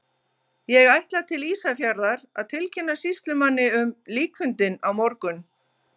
Ég ætla til Ísafjarðar að tilkynna sýslumanni um líkfundinn á morgun.